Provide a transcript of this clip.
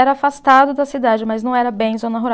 Era afastado da cidade, mas não era bem zona rural.